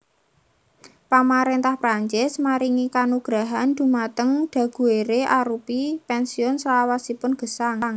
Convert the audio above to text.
Pamaréntah Prancis maringi kanugrahan dhumateng Daguerre arupi pènsiun salawasipun gesang